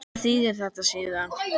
En hvað þýðir þetta síðan?